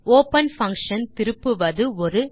open function திருப்புவது ஒரு